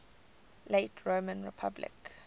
late roman republic